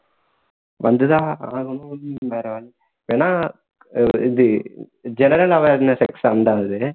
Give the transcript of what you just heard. வந்து தான் ஆகணும் வேற வழி வேணா இது general awareness exam தான் அது